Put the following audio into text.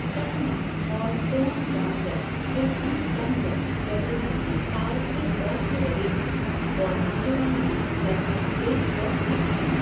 चकमा और तोंगचांग्या या तंचंग्या ऐतिहासिक काल से बौद्ध रहे हैं और मिजोरम में लगभग एक सौ मठ हैं।